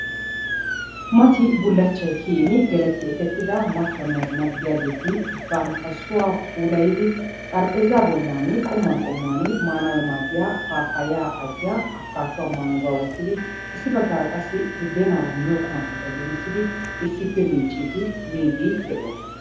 Mati bulachchay kiyyin geletti ekettida machchonne azina gidiyaageeti bantta sohuwa pulayddi xarapheezza bollan qommuwan qommuwan maanayyo maaddiyaa abbikaduwa, mangguwaa wottidi, issi baggara qassi budeenaara miyiyyo qumatakka giigissid issippe miiccide miide de'oosona.